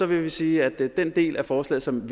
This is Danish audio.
vi sige at den del af forslaget som